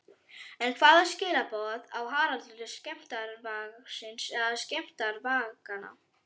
En hvaða skilaboð á Haraldur til skemmdarvargsins eða skemmdarvarganna?